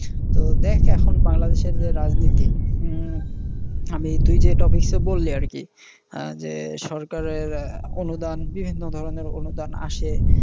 তো দেখ এখন বাংলাদেশের যে রাজনীতি হম আমি তুই যে topic, টা বললি আর কি আহ যে সরকারের অনুদান বিভিন্ন ধরনের অনুদান আসে।